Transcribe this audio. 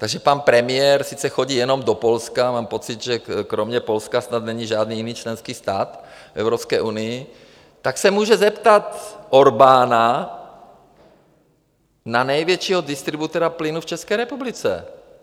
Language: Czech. Takže pan premiér sice chodí jenom do Polska, mám pocit, že kromě Polska snad není žádný jiný členský stát v Evropské unii, tak se může zeptat Orbána na největšího distributora plynu v České republice.